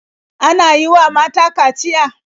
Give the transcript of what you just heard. Ana yi wa mata kaciya?